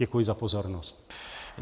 Děkuji za pozornost.